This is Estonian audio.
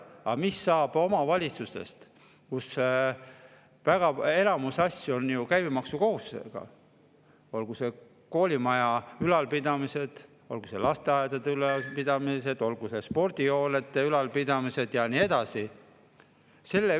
Aga mis saab omavalitsustest, kus enamik asju on käibemaksukohustusega, olgu koolimaja ülalpidamised, olgu lasteaedade ülalpidamised, olgu spordihoonete ülalpidamised ja nii edasi?